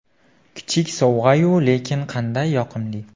Kichik sovg‘a-yu, lekin qanday yoqimli!”.